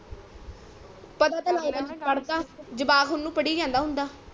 ਪਤਾ ਤੋਂ ਲਗਦਾ ਨੀ ਪੜਦਾ ਜਵਾਕ ਉਨੂੰ ਪੜੀ ਜਾਂਦਾ ਹੁੰਦਾ